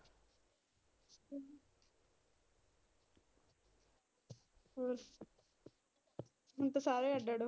ਹਮ ਹੁਣ ਤੇ ਸਾਰੇ ਅੱਡ ਅੱਡ।